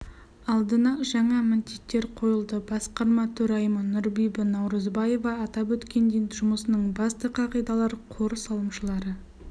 алдына жаңа міндеттер қойылды басқарма төрайымы нұрбүбі наурызбаева атап өткендей жұмысының басты қағидалары қор салымшылары